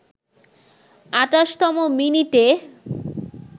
২৮তম মিনিটে